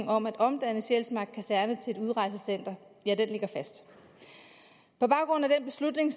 om at omdanne sjælsmark kaserne til et udrejsecenter ligger fast på baggrund af den beslutning